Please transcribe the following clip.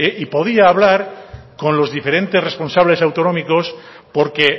y podía hablar con los diferentes responsables autonómicos porque